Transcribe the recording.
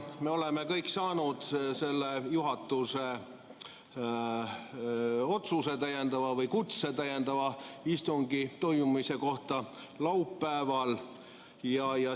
Me oleme kõik saanud selle juhatuse kutse või otsuse täiendava istungi toimumise kohta laupäeval.